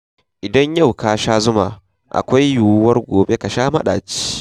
Idan yau ka sha zuma, akwai yiwuwar gobe ka sha maɗaci.